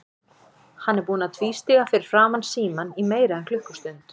Hann er búinn að tvístíga fyrir framan símann í meira en klukkustund.